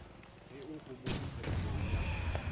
ge o homotše phadimong ya